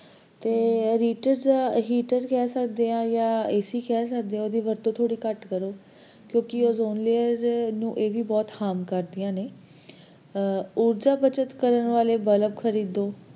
ਤੇ ਆਹ heaters heaters ਕਹਿ ਸਕਦੇ ਆ AC ਕਹਿ ਸਕਦੇ ਆ ਓਹਦੀ ਵਰਤੋਂ ਥੋੜੀ ਘਟ ਕਰੋ ਕਿਉਕਿ ozone layer ਨੂੰ ਇਹ ਵੀ ਬਹੁਤ harm ਕਰਦਿਆਂ ਨੇ ਊਰਜਾ ਬੱਚਤ ਕਰਨ ਵਾਲੇ bulb ਖਰਦਿਓ